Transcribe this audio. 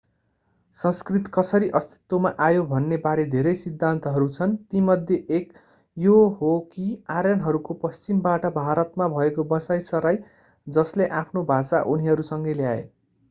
संस्कृत कसरी अस्तित्वमा आयो भन्ने बारे धेरै सिद्धान्तहरू छन् तीमध्ये एक यो हो कि आर्यनहरूको पश्चिमबाट भारतमा भएको बसाइ सराइ जसले आफ्नो भाषा उनीहरूसँगै ल्याए